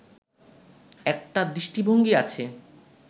একটা দৃষ্টিভঙ্গী আছে